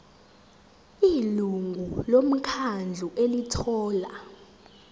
ilungu lomkhandlu elithola